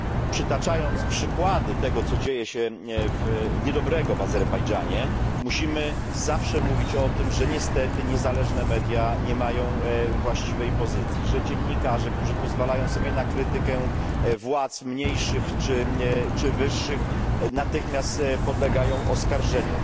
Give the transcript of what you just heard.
Przytaczając przykłady tego, co niedobrego dzieje się w Azerbejdżanie, musimy zawsze mówić o tym, że niestety niezależne media nie mają właściwej pozycji, że dziennikarze, którzy pozwalają sobie na krytykę władz mniejszych czy wyższych, natychmiast podlegają oskarżeniu.